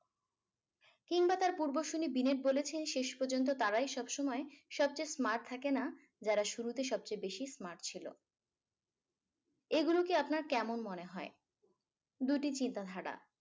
কিংবা তার পূর্বসূরি binet বলেছেন শেষ পযন্ত তারাই সবসময় সবচেয়ে smart থাকেনা যারা শুরুতে সবচেয়ে বেশি smart ছিল এইগুলোকে আপনার কেমন মনে হয় দুটি চিন্তাধারা